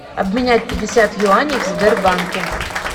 обменять пятьдесят юаней в сбербанке